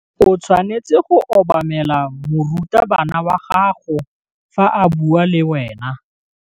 O tshwanetse go obamela morutabana wa gago fa a bua le wena.